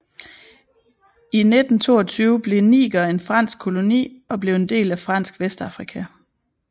I 1922 blev Niger en fransk koloni og blev en del af Fransk Vestafrika